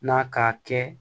Na ka kɛ